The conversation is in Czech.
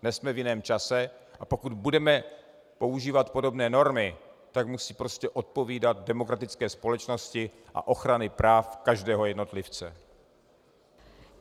Dnes jsme v jiném čase, a pokud budeme používat podobné normy, tak musí prostě odpovídat demokratické společnosti a ochraně práv každého jednotlivce.